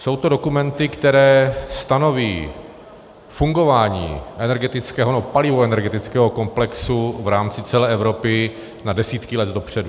Jsou to dokumenty, které stanoví fungování energetického, nebo palivoenergetického komplexu v rámci celé Evropy na desítky let dopředu.